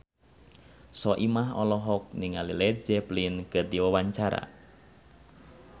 Soimah olohok ningali Led Zeppelin keur diwawancara